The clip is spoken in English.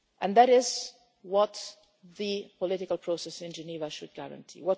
is it. That is what the political process in Geneva should guarantee.